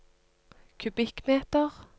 kubikkmeter